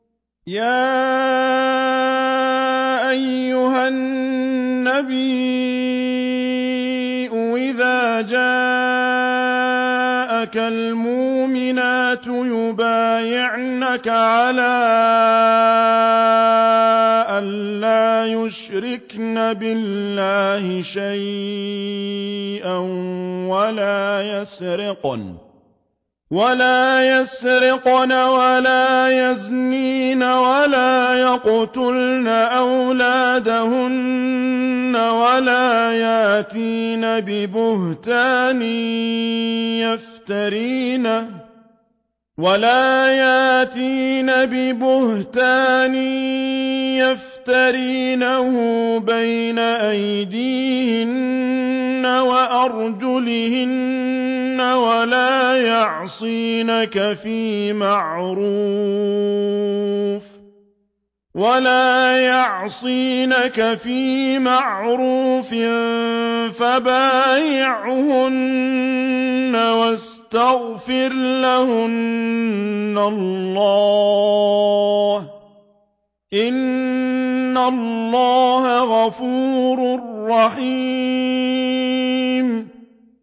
يَا أَيُّهَا النَّبِيُّ إِذَا جَاءَكَ الْمُؤْمِنَاتُ يُبَايِعْنَكَ عَلَىٰ أَن لَّا يُشْرِكْنَ بِاللَّهِ شَيْئًا وَلَا يَسْرِقْنَ وَلَا يَزْنِينَ وَلَا يَقْتُلْنَ أَوْلَادَهُنَّ وَلَا يَأْتِينَ بِبُهْتَانٍ يَفْتَرِينَهُ بَيْنَ أَيْدِيهِنَّ وَأَرْجُلِهِنَّ وَلَا يَعْصِينَكَ فِي مَعْرُوفٍ ۙ فَبَايِعْهُنَّ وَاسْتَغْفِرْ لَهُنَّ اللَّهَ ۖ إِنَّ اللَّهَ غَفُورٌ رَّحِيمٌ